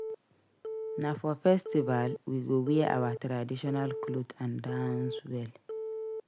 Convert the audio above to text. Na for festival we go wear our traditional clothes and dance well.